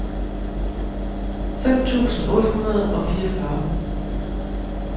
fem tusind otte hundrede og fireogfyrre